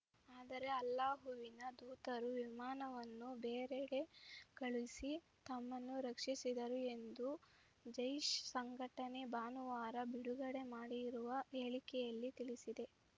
ಆದರೆ ಅಲ್ಲಾಹುವಿನ ದೂತರು ವಿಮಾನವನ್ನು ಬೇರೆಡೆ ಕಳುಹಿಸಿ ತಮ್ಮನ್ನು ರಕ್ಷಿಸಿದರು ಎಂದು ಜೈಷ್‌ ಸಂಘಟನೆ ಭಾನುವಾರ ಬಿಡುಗಡೆ ಮಾಡಿರುವ ಹೇಳಿಕೆಯಲ್ಲಿ ತಿಳಿಸಿದೆ